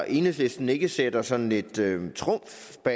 enhedslisten ikke sætter sådan lidt trumf på